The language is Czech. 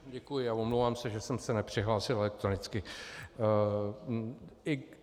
Děkuji a omlouvám se, že jsem se nepřihlásil elektronicky.